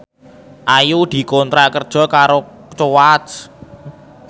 Ayu dikontrak kerja karo Coach